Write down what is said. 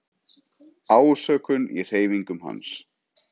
Ásökun í hreyfingum hans.